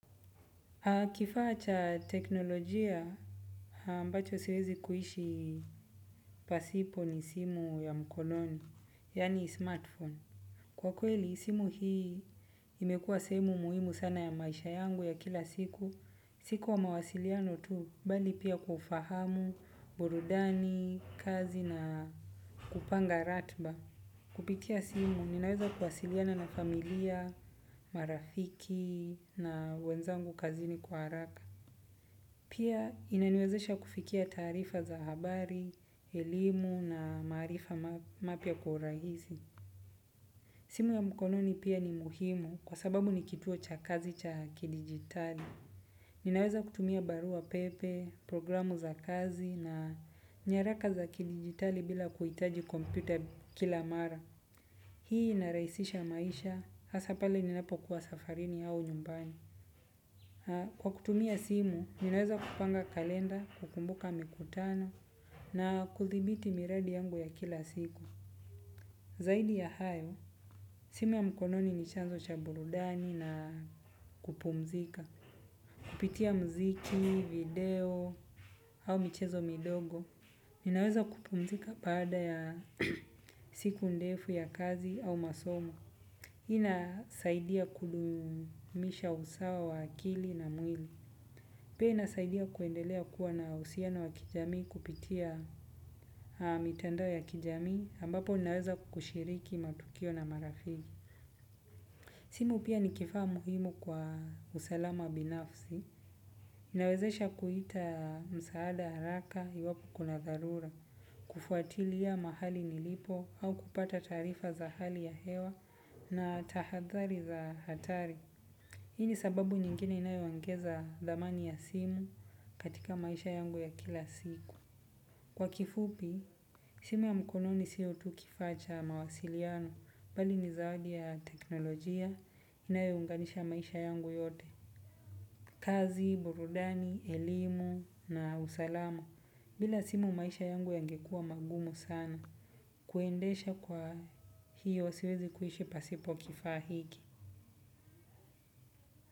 Kifaa cha teknolojia ambacho siwezi kuishi pasipo ni simu ya mkononi, yaani smartphone. Kwa kweli, simu hii imekua simu muhimu sana ya maisha yangu ya kila siku. Si kwa mawasiliano tu, bali pia kwa ufahamu, burudani, kazi na kupanga ratba. Kupitia simu, ninaweza kuwasiliana na familia, marafiki na wenzangu kazini kwa haraka. Pia inaniwezesha kufikia taarifa za habari, elimu na maarifa mapya kwa urahisi. Simu ya mkononi pia ni muhimu kwa sababu ni kituo cha kazi cha ki-digitali. Ninaweza kutumia barua pepe, programu za kazi na nyaraka za kidigitali bila kuitaji kompyuta kila mara. Hii inarahisisha maisha, hasa pale ninapo kuwa safarini au nyumbani. Kwa kutumia simu, ninaweza kupanga kalenda, kukumbuka mikutano, na kuthibiti miradi yangu ya kila siku. Zaidi ya hayo, simu ya mkononi ni chanzo cha burudani na kupumzika. Kupitia mziki, video, au michezo midogo. Ninaweza kupumzika baada ya siku ndefu ya kazi au masomo. Ina saidia kudumisha usawa wa akili na mwili. Pia inasaidia kuendelea kuwa na uhusiano wa kijamii kupitia mitandao ya kijamii ambapo ninaweza kushiriki matukio na marafiki. Simu pia ni kifaa muhimu kwa usalama binafsi. Ninawezesha kuita msaada haraka iwapo kuna dharura. Kufuatilia mahali nilipo au kupata taarifa za hali ya hewa na tahadhari za hatari. Hii ni sababu nyingine inayoongeza dhamani ya simu katika maisha yangu ya kila siku. Kwa kifupi, simu ya mkono ni sio tu kifaa cha mawasiliano, bali ni zawadi ya teknolojia inayounganisha maisha yangu yote. Kazi, burudani, elimu na usalama bila simu maisha yangu yangekuwa magumu sana kuendesha kwa hiyo siwezi kuishi pasipo kifaa hiki.